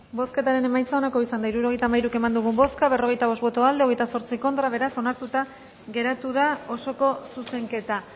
bozketaren emaitza onako izan da hirurogeita hamairu eman dugu bozka berrogeita bost boto aldekoa veintiocho contra beraz onartuta geratu da osoko zuzenketa